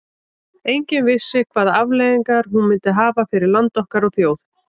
Enginn vissi hvaða afleiðingar hún myndi hafa fyrir land okkar og þjóð.